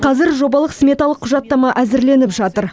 қазір жобалық сметалық құжаттама әзірленіп жатыр